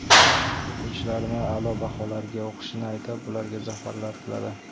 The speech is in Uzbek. O‘quvchilarni a’lo baholarga o‘qishini aytib, ularga zafarlar tiladi.